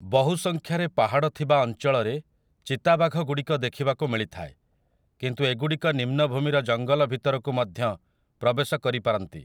ବହୁ ସଂଖ୍ୟାରେ ପାହାଡ଼ ଥିବା ଅଞ୍ଚଳରେ ଚିତାବାଘଗୁଡ଼ିକ ଦେଖିବାକୁ ମିଳିଥାଏ, କିନ୍ତୁ ଏଗୁଡ଼ିକ ନିମ୍ନଭୂମିର ଜଙ୍ଗଲ ଭିତରକୁ ମଧ୍ୟ ପ୍ରବେଶ କରିପାରନ୍ତି ।